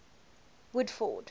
woodford